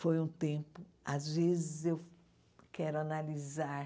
Foi um tempo... Às vezes, eu quero analisar